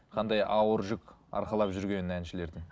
қандай ауыр жүк арқалап жүргенін әншілердің